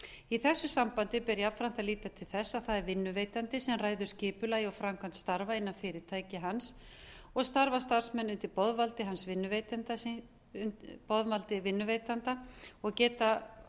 í þessu sambandi ber jafnframt að líta til þess að það er vinnuveitandi sem ræður skipulagi og framkvæmd starfa innan fyrirtæki hans og starfa starfsmenn undir boðvaldi hans vinnuveitanda síns og geta